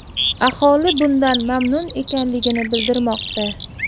Aholi bundan mamnun ekanligini bildirmoqda.